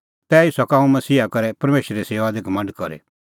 तैही सका हुंह मसीहा करै परमेशरे सेऊआ दी घमंड करी